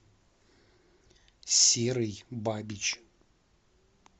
серый бабич